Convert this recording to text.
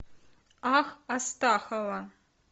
ах астахова